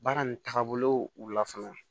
Baara nin tagabolo la fana